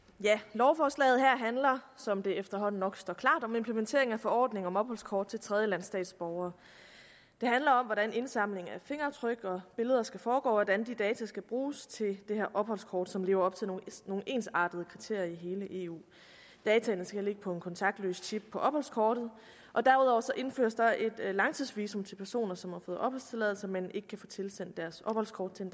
lovforslaget her handler som det efterhånden nok står klart om implementering af forordning om opholdskort til tredjelandsstatsborgere det handler om hvordan indsamling af fingeraftryk og billeder skal foregå og hvordan de data skal bruges til det her opholdskort som lever op til nogle ensartede kriterier i hele eu dataene skal ligge på en kontaktløs chip på opholdskortet og derudover indføres der et langtidsvisum til personer som har fået opholdstilladelse men ikke kan få tilsendt deres opholdskort til